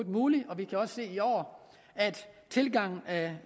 muligt vi kan også se i år at tilgangen af